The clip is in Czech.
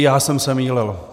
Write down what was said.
I já jsem se mýlil.